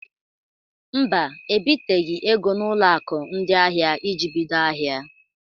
Mba, ebiteghi ego n'ụlọ akụ ndị ahịa iji bido ahịa.